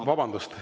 Vabandust!